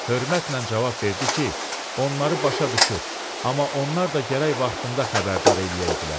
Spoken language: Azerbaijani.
Hörmətlə cavab verdi ki, onları başa düşür, amma onlar da gərək vaxtında xəbərdar eləyəydilər.